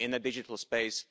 in the digital space.